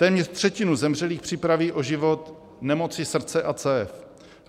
Téměř třetinu zemřelých připraví o život nemoci srdce a cév.